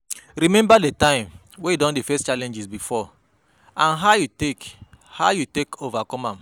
Remember di time wey you don face challenge before and how you take how you take overcome am